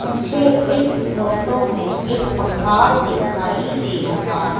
मुझे इस फोटो में एक पहाड़ दिखाई दे रहा है।